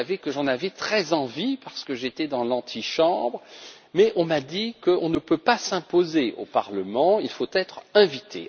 Vous savez que j'en avais très envie parce que j'étais dans l'antichambre, mais on m'a informé qu'on ne pouvait pas s'imposer au Parlement et qu'il fallait être invité.